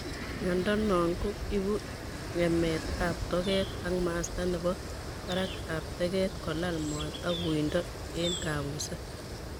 Miondo no ko ipu ngemet ap toget ak masta nepo parak ap teket, kolal moet ak uindo ing kapuset.